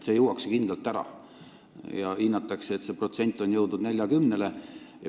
See juuakse kindlalt ära ja hinnatakse, et see protsent on jõudnud 40-ni.